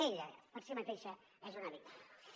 ella per si mateixa és una víctima